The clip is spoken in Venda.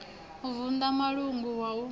u vunḓa mulanga wa u